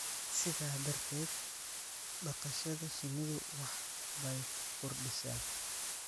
Sidaa darteed, dhaqashada shinnidu wax bay ku kordhisaa